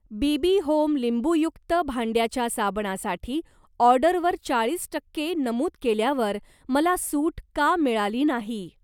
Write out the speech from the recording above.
Bibi Home लिंबूयुक्त भांड्याच्या साबणासाठी ऑर्डरवर चाळीस टक्के नमूद केल्यावर मला सूट का मिळाली नाही.